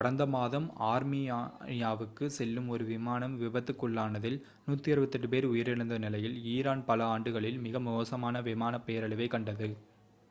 கடந்த மாதம் ஆர்மீனியாவுக்குச் செல்லும் ஒரு விமானம் விபத்துக்குள்ளானதில் 168 பேர் உயிரிழந்த நிலையில் ஈரான் பல ஆண்டுகளில் மிக மோசமான விமான பேரழிவைக் கண்டது